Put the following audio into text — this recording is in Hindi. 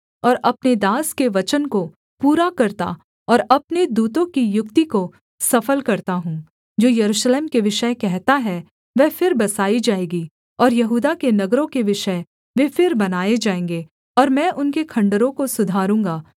और अपने दास के वचन को पूरा करता और अपने दूतों की युक्ति को सफल करता हूँ जो यरूशलेम के विषय कहता है वह फिर बसाई जाएगी और यहूदा के नगरों के विषय वे फिर बनाए जाएँगे और मैं उनके खण्डहरों को सुधारूँगा